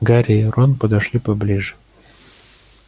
гарри и рон подошли поближе